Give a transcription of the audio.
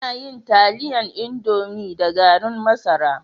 Ana yin taliyan indomi da gari masara